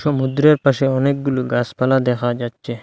সমুদ্রের পাশে অনেকগুলু গাসপালা দেখা যাচ্ছে।